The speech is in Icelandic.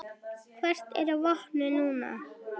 Hvert er vopnið núna?